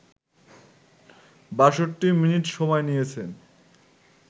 ৬২ minute সময় নিয়েছেন